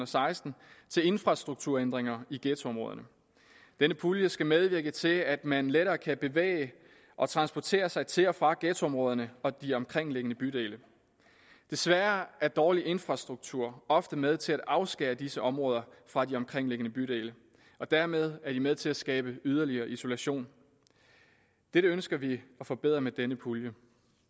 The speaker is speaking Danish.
seksten til infrastrukturændringer i ghettoområderne denne pulje skal medvirke til at man lettere kan bevæge og transportere sig til og fra ghettoområderne og de omkringliggende bydele desværre er dårlig infrastruktur ofte med til at afskære disse områder fra de omkringliggende bydele og dermed er det med til at skabe yderligere isolation dette ønsker vi at forbedre med denne pulje